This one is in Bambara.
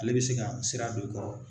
Ale bɛ se ka sira don i kɔrɔ